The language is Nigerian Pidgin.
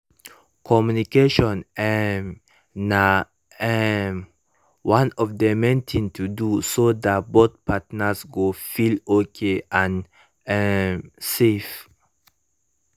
communication um na um one of the main thing to do so that both partners go feel okay and um safe